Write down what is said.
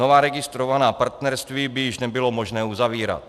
Nová registrovaná partnerství by již nebylo možné uzavírat.